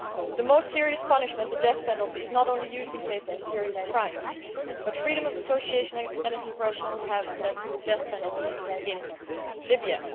The most serious punishment, the death penalty, is not only used in cases of serious crimes freedom of association and expression have also led to the death penalty in Libya.